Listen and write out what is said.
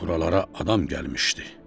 Buralara adam gəlmişdi.